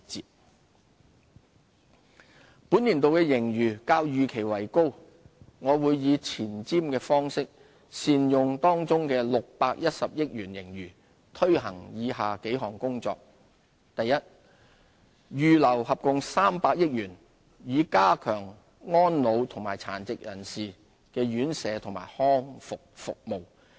盈餘運用本年度的盈餘較預期為高，我會以前瞻方式善用當中610億元盈餘，推行以下數項工作：一預留合共300億元，以加強安老和殘疾人士的院舍和康復服務。